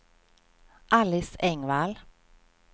Alice Engvall